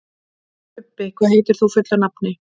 Bubbi, hvað heitir þú fullu nafni?